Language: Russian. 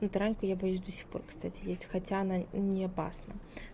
и тараньку я боюсь до сих пор кстати есть хотя она и не опасна